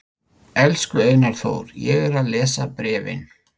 Elsku Einar Þór, ég er að lesa bréfin.